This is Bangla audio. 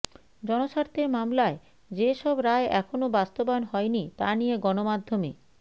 জনস্বার্থের মামলায় যেসব রায় এখনও বাস্তবায়ন হয়নি তা নিয়ে গণমাধ্যমে